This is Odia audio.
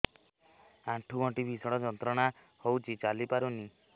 ଆଣ୍ଠୁ ଗଣ୍ଠି ଭିଷଣ ଯନ୍ତ୍ରଣା ହଉଛି ଚାଲି ପାରୁନି